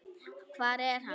Hvar er hann?